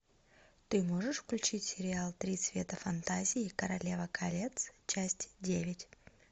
ты можешь включить сериал три цвета фантазии королева колец часть девять